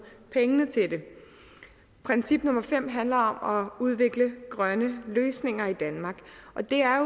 pengene til det princip nummer fem handler om at udvikle grønne løsninger i danmark og det er